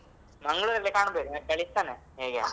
Mangalore ಅಲ್ಲಿ ಕಾಣಬೇಕು ನಾನ್ ಕಳಿಸ್ತೇನೆ ನಿನ್ಗೆ ಎಲ್ಲಿ ಅಂತ.